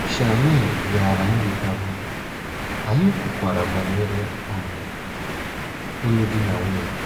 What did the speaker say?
Shirley bịara ileta m, anyị kwukwara banyere um ịlụ di na nwunye.